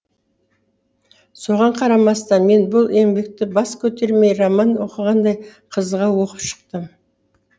соған қарамастан мен бұл еңбекті бас көтермей роман оқығандай қызыға оқып шықтым